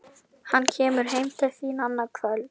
Hann kemur heim til þín annað kvöld